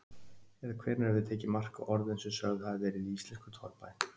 Eða hvenær hefur verið tekið mark á orðum sem sögð hafa verið í íslenskum torfbæ?